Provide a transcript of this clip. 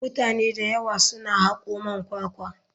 Mutane da yawa suna hako man kwakwa.